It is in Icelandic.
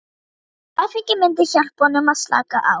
Áfengið myndi hjálpa honum að slaka á.